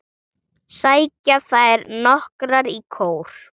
segja þær nokkrar í kór.